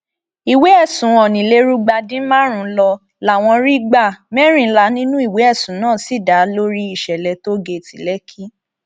ìwé ẹsùn onílèrúgba dín márùnún ló láwọn rí gbá mẹrìnlá nínú ìwé ẹsùn náà sì dá lórí ìṣẹlẹ tóógẹẹtì lẹkì